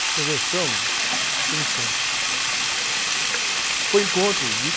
Convenção?m Santos.oi em Santos.omo é que foi isso, assim?oi encontro de...